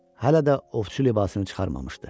Hələ də ovçu libasını çıxarmamışdı.